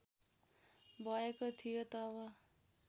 भएको थियो तब